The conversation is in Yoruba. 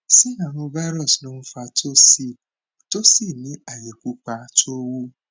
ṣé àrùn virus ló n fa tonsil tó sì ní aye pupa tó wú